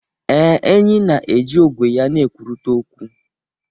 Ee, enyí na-eji ogwe ha na-ekwurịta okwu.